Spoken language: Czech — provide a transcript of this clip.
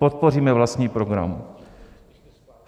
Podpoříme vlastní program.